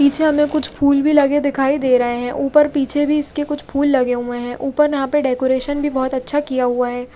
पीछे हमे कुछ फुल भी लगे दिखाई दे रहे है उपर पीछे भी इसके कुछ फुल लगे हुए है उपर यहाँ पे डेकोरेशन भी अच्छा किया हुआ है।